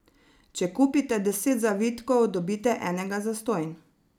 Če kupite deset zavitkov, dobite enega zastonj!